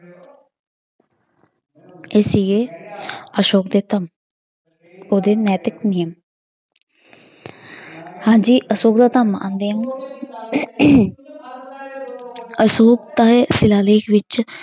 ਇਹ ਸੀਗੇ ਅਸ਼ੋਕ ਦੇ ਧੰਮ ਉਹਦੇ ਨੈਤਿਕ ਨਿਯਮ ਹਾਂਜੀ ਅਸ਼ੌਕ ਅਸ਼ੌਕ ਦੇ ਸਿਲਾਲੇਖ ਵਿੱਚ